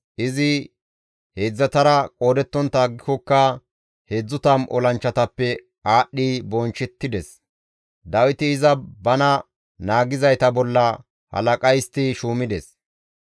Izi heedzdzatara qoodettontta aggikokka 30 olanchchatappe aadhdhi bonchchettides; Dawiti iza bana naagizayta bolla halaqa histti shuumides.